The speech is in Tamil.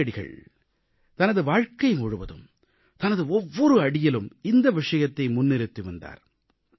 காந்தியடிகள் தனது வாழ்க்கை முழுவதும் தனது ஒவ்வொரு அடியிலும் இந்த விஷயத்தை முன்னிறுத்தி வந்தார்